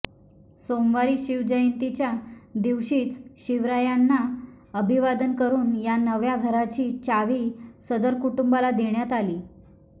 सोमवारी शिवजयंतीच्या दिवशीच शिवरायांना अभिवादन करुन या नव्या घराची चावी सदर कुटुंबाला देण्यात आली